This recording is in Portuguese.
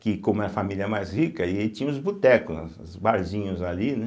que, como era a família mais rica, aí tinha os botecos, né, os barzinhos ali, né?